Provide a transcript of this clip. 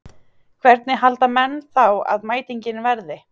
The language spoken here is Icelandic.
Hvernig halda menn þá að mætingin verði?